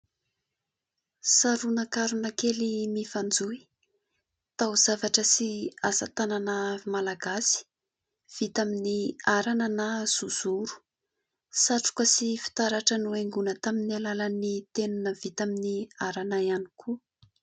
Saronakarona kely mifanjohy. Tao-zavatra sy asatanana Malagasy vita amin'ny arana na zozoro. Satroka sy fitaratra no haingona tamin'ny alalan'ny tenona vita amin'ny arana ihany koa.